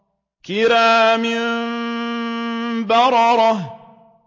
كِرَامٍ بَرَرَةٍ